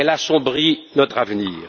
Elle assombrit notre avenir.